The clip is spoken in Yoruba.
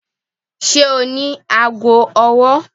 Ṣe o ni aago ọwọ?